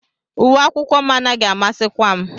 Uwe akwụkwọ m anaghị amasịkwa m